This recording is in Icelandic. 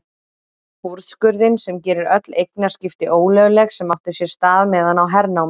Úrskurðinn sem gerir öll eignaskipti ólögleg sem áttu sér stað meðan á hernámi